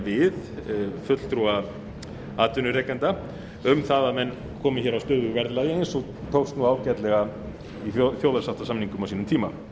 við fulltrúa atvinnurekenda um að menn komi á stöðugu verðlagi eins og tókst ágætlega í þjóðarsáttarsamningum á sínum tíma